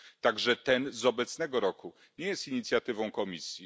także to z obecnego roku, nie jest inicjatywą Komisji.